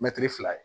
Mɛtiri fila ye